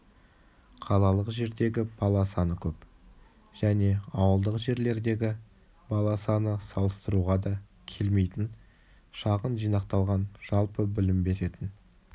қалалық жердегі бала саны көп және ауылдық жерлердегі бала саны салыстыруға да келмейтін шағын жинақталған жалпы білім беретін